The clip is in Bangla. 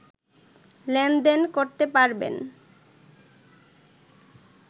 লেনদেন করতে পারবেন